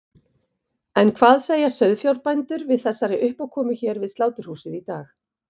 En hvað segja sauðfjárbændur við þessari uppákomu hér við sláturhúsið í dag?